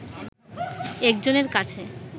একজনের কাছে